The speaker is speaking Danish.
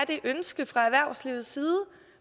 det ønske fra erhvervslivets side